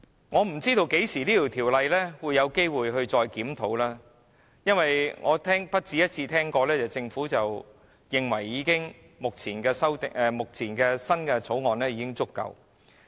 我不知道《僱傭條例》何時再作檢討，因為我不只一次聽到政府認為目前的《條例草案》已經足夠。